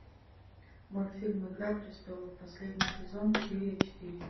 мультфильм игра престолов последний сезон серия четыре